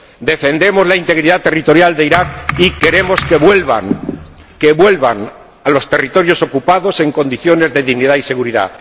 Defendemos la integridad territorial de Irak y queremos que los desplazados vuelvan a los territorios ocupados, en condiciones de dignidad y seguridad.